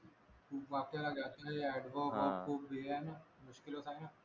खूप वाक्य adverb खूप हे आहे ना मुश्किल होत आहे ना